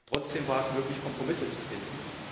Trotzdem war es möglich, Kompromisse zu finden.